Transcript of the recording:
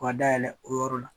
O ka dayɛlɛ o yɔrɔ la.